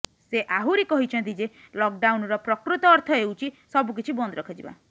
ସେ ଆହୁରି କହିଛନ୍ତି ଯେ ଲକ୍ଡାଉନର ପ୍ରକୃତ ଅର୍ଥ ହେଉଛି ସବୁକିଛି ବନ୍ଦ ରଖାଯିବା